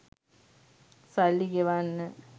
සල්ලි ගෙවන්න